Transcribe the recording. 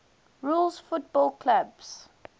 rules football clubs